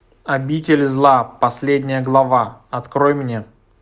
обитель зла последняя глава открой мне